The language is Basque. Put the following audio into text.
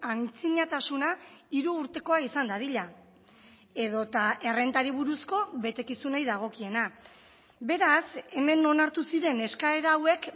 antzinatasuna hiru urtekoa izan dadila edota errentari buruzko betekizunei dagokiena beraz hemen onartu ziren eskaera hauek